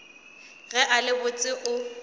ge a le botse o